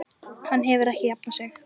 Hann hefur ekki jafnað sig.